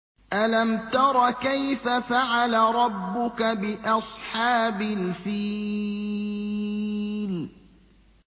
أَلَمْ تَرَ كَيْفَ فَعَلَ رَبُّكَ بِأَصْحَابِ الْفِيلِ